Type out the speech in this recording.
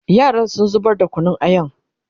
yaran sun zubar da Kunun ayan